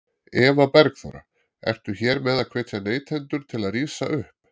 Eva Bergþóra: Ertu hér með að hvetja neytendur til að rísa upp?